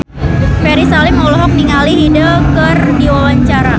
Ferry Salim olohok ningali Hyde keur diwawancara